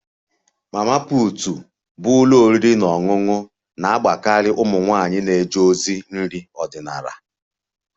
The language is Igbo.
Mama put bụ ụlọ oriri na ọṅụṅụ na-agbakarị ụmụ nwanyị na-eje ozi nri ọdịnala